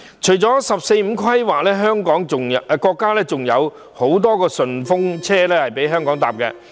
除了"十四五"規劃，國家還有很多"順風車"供香港搭乘。